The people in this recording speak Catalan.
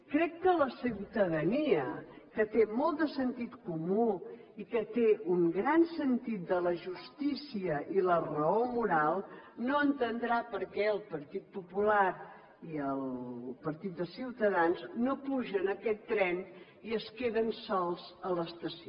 crec que la ciutadania que té molt de sentit comú i que té un gran sentit de la justícia i la raó moral no entendrà per què el partit popular i el partit de ciutadans no pugen a aquest tren i es queden sols a l’estació